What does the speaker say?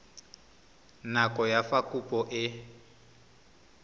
nako ya fa kopo e